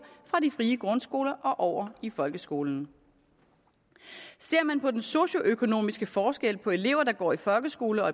fra de frie grundskoler og over i folkeskolen ser man på den socioøkonomiske forskel på elever der går i folkeskole og